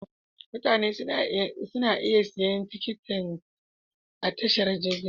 Mutane suna iya siyan tikiti a tashar jirgin sama.